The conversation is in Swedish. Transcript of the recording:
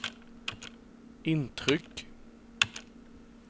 intryck